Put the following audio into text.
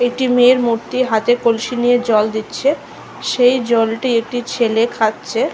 একটি মেয়ের মূর্তি হাতে কলসি নিয়ে জল দিচ্ছে। সেই জলটি একটি ছেলে খাচ্ছে ।